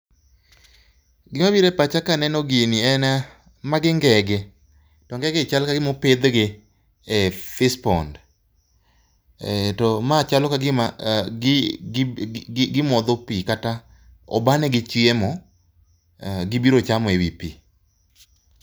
Gima biro e pacha kaneno gini en, magingege to ngege gi chal kagima opidhgi e fish pond. To ma chalo kagima gimodhopii kata obanegi chiemo, gibiro chamo ewi pii.